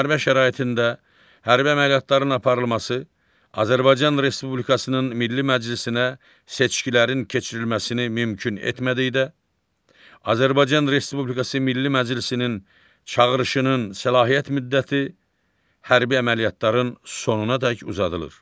Müharibə şəraitində hərbi əməliyyatların aparılması Azərbaycan Respublikasının Milli Məclisinə seçkilərin keçirilməsini mümkün etmədikdə, Azərbaycan Respublikası Milli Məclisinin çağırışının səlahiyyət müddəti hərbi əməliyyatların sonunadək uzadılır.